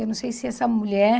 Eu não sei se essa mulher...